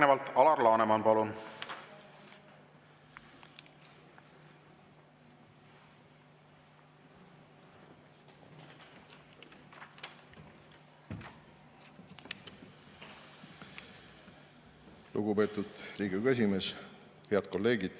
Head kolleegid!